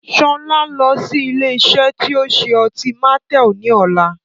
Sọlá ń lọ sí ilé isẹ́ ti o ń ṣe ọtí Martel ni ọ̀la